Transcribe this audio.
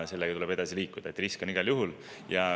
Sellega tuleb edasi liikuda, see on igal juhul risk.